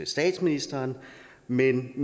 statsministeren men